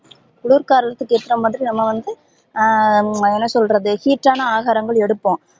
குளிர் காலத்துக்கு ஏத்தா மாதிரி நம்ப வந்த ஹம் என்ன சொல்றது heat டான ஆகாரம் எடுப்போம்